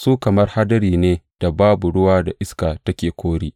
Su kamar hadari ne da babu ruwa da iska take kori.